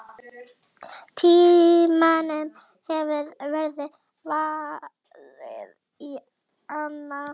Tímanum hefur verið varið í annað.